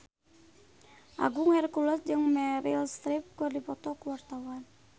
Agung Hercules jeung Meryl Streep keur dipoto ku wartawan